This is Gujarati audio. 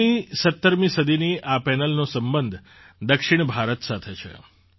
૧૬મી૧૭મી સદીની આ પેનલનો સંબંધ દક્ષિણ ભારત સાથે છે